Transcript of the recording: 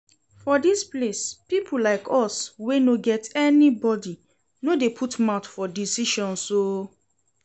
For dis place people like us wey no get anybody no dey put mouth for decisions oo